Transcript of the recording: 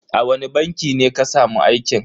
A wani banki ne ka samu aikin?